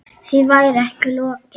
Því væri ekki lokið.